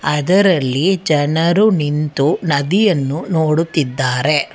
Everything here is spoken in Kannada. ಅದರಲ್ಲಿ ಜನರು ನಿಂತು ನದಿಯನ್ನು ನೋಡುತ್ತಿದ್ದಾರೆ.